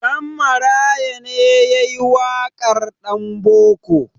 Ɗanmaraya ne ya yi waƙar "Ɗanboko".